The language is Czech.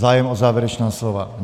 Zájem o závěrečná slova?